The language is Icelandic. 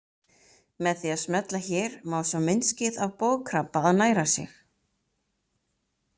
Með því að smella hér má sjá myndskeið af bogkrabba að næra sig.